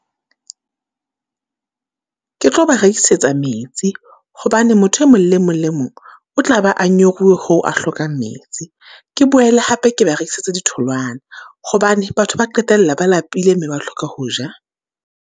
Ke tlo ba rekisetsa metsi, hobane motho e mong le mong le mong o tla ba a nyoruwe hoo a hlokang metsi. Ke boele hape ke ba rekisetsa di tholwana, hobane batho ba qetella ba lapile mme ba hloka ho ja.